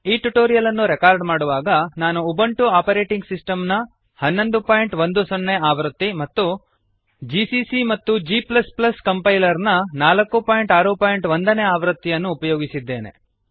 ಈ ಟ್ಯುಟೋರಿಯಲ್ ಅನ್ನು ರೆಕಾರ್ಡ್ ಮಾಡುವಾಗ ನಾನು ಉಬುಂಟು ಆಪರೇಟಿಂಗ್ ಸಿಸ್ಟಮ್ನ1110 ನೇಆವೃತ್ತಿ ಮತ್ತು gccಮತ್ತುgಕಂಪೈಲರ್ನ461 ನೇಆವೃತ್ತಿಯನ್ನು ಅನ್ನು ಉಪಯೋಗಿಸಿದ್ದೇನೆ